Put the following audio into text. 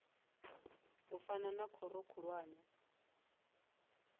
u fana na khoro khulwane